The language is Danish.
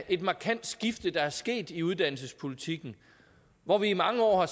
et markant skifte der er sket i uddannelsespolitikken hvor vi i mange år har